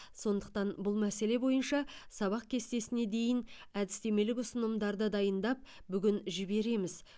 сондықтан бұл мәселе бойынша сабақ кестесіне дейін әдістемелік ұсынымдарды дайындап бүгін жібереміз